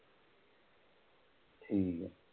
ਹੂੰ